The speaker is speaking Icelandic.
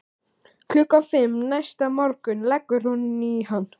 Klukkan fimm næsta morgun leggur hún í hann.